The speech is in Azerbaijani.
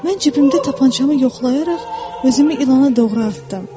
Mən cibimdə tapançamı yoxlayaraq özümü ilana doğru atdım.